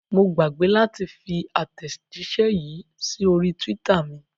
Mo gbàgbé láti fi àtẹ̀jíṣẹ́ yìí sí orí twitter mi.